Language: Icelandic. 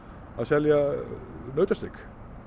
að selja nautasteik